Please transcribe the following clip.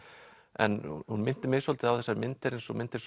en hún minnti mig svolítið á þessar myndir eins og myndir